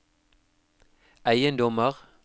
eiendommer